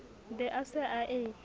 be a se a e